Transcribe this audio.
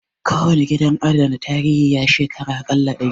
Kowane gidan adana tarihi, ya shekara a ƙalla dari